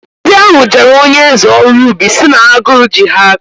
Ndị ahụ jeere onyeeze ọrụ ubi si na agụrụ ji ha aka